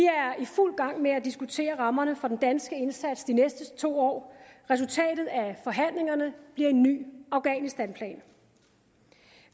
i fuld gang med at diskutere rammerne for den danske indsats de næste to år resultatet af forhandlingerne bliver en ny afghanistanplan